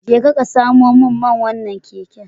Jeka ka samo min man wannan keken.